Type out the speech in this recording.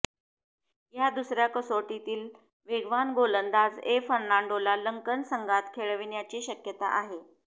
या दुसऱया कसोटीत वेगवान गोलंदाज ए फर्नांडोला लंकन संघात खेळविण्याची शक्यता आहे